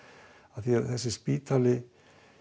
af því þessi spítali